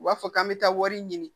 U b'a fɔ k'an bɛ taa wari ɲini